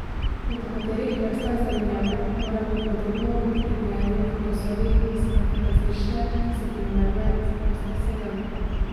Pri nekaterih vrstah zelenjave moramo podobno kot pri gojenju v posodi izbrati različice, ki so primerne za gosto sejanje.